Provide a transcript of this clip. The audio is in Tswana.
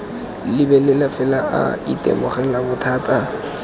lebelela fela a itemogela bothata